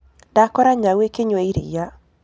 Ndakora nyau ĩkĩnyũa ĩrĩa.